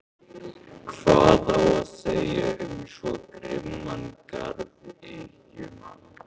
Hvað á að segja um svo grimman garðyrkjumann?